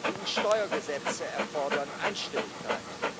EU Steuergesetze erfordern Einstimmigkeit.